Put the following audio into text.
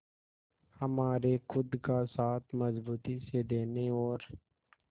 हमारे खुद का साथ मजबूती से देने और